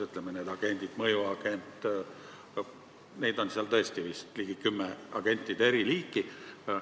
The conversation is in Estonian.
Kas või need mõjuagendid ja muud agendid, neid on seal vist tõesti ligi kümme eriliiki.